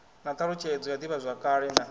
na thalutshedzo ya divhazwakale na